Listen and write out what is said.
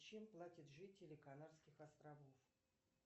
чем платят жители канарских островов